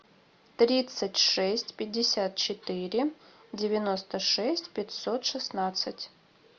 тридцать шесть пятьдесят четыре девяносто шесть пятьсот шестнадцать